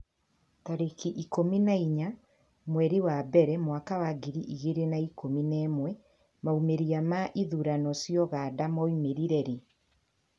tarĩki ikũmi na inya mweri wa mbere mwaka wa ngiri igĩrĩ na ikũmi na ĩmwemaumĩrĩra ma ithurano cia Uganda maumire rĩ?